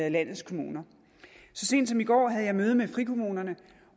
i landets kommuner så sent som i går havde jeg møde med frikommunerne